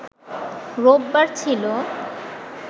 রোববার ছিল